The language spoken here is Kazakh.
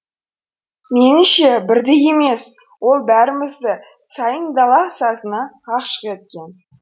меніңше бірді емес ол бәрімізді сайын дала сазына ғашық еткен